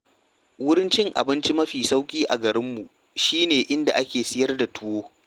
Wurin cin abinci mafi sauƙi a garinmu shi ne inda ake siyar da tuwo.